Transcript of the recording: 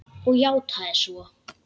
Og játað svo.